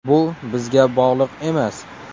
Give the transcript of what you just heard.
Bu bizga bog‘liq emas.